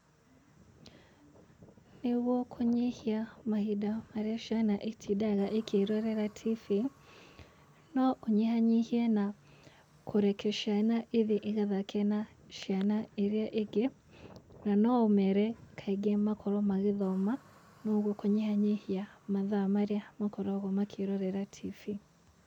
Nĩgũo kũnyihia mahinda marĩa ciana itindaga ikĩrorera Tv no ũnyihanyihie na kũreka ciana ihie ĩgathake na ciana iria ingĩ na no ũmere kaingĩ makorwo magĩthoma na ũgũo kũnyihanyihia mathaa marĩa makoragwo makĩrorera Tv.